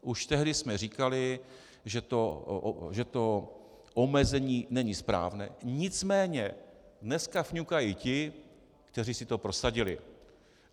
Už tehdy jsme říkali, že to omezení není správné, nicméně dneska fňukají ti, kteří si to prosadili.